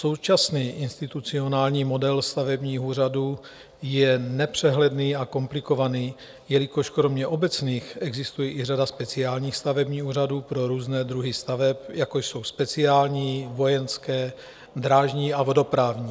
Současný institucionální model stavebního úřadu je nepřehledný a komplikovaný, jelikož kromě obecných existuje i řada speciálních stavebních úřadů pro různé druhy staveb, jako jsou speciální, vojenské, drážní a vodoprávní.